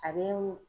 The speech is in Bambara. A be